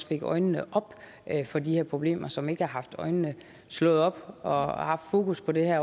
fik øjnene op for de her problemer som ikke før har haft øjnene slået op og haft fokus på det